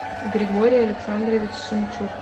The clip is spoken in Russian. григорий александрович шемчук